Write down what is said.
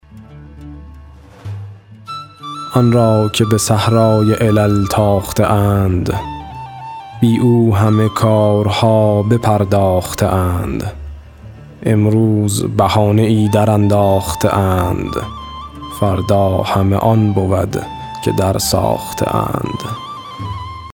آن را که به صحرای علل تاخته اند بی او همه کارها بپرداخته اند امروز بهانه ای درانداخته اند فردا همه آن بود که درساخته اند